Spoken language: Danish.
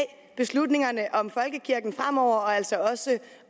beslutningerne om folkekirken fremover og altså også